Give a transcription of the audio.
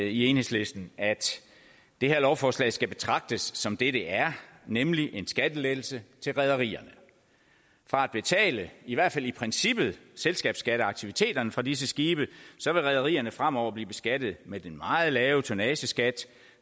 i enhedslisten at det her lovforslag skal betragtes som det det er nemlig en skattelettelse til rederierne fra at betale i hvert fald i princippet selskabsskatteaktiviteterne fra disse skibe vil rederierne fremover blive beskattet med den meget lave tonnageskat